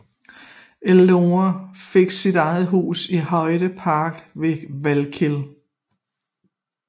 Eleanor fik et eget hus i Hyde Park ved Valkill